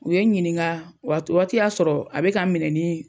U ye n ɲininka o waati y'a sɔrɔ a bɛ ka n minɛ ni